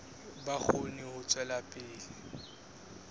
ba kgone ho tswela pele